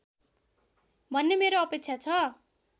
भन्ने मेरो अपेक्षा छ